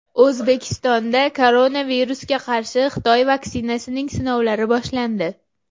O‘zbekistonda koronavirusga qarshi Xitoy vaksinasining sinovlari boshlandi.